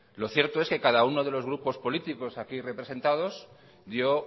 lo cierto es que cada uno de los grupos políticos aquí representados dio